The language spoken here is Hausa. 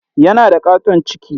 Yana da ƙaton ciki.